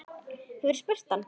Hefurðu spurt hann?